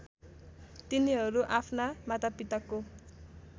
तिनीहरू आफ्ना मातापिताको